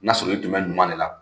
N'a sɔrɔ i tun bɛ ɲuman de la,